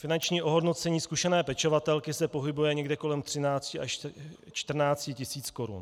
Finanční ohodnocení zkušené pečovatelky se pohybuje někde kolem 13 až 14 tisíc korun.